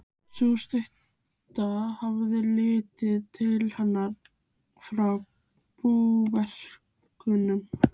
Sú stutta hafði litið inn til hennar frá búverkunum.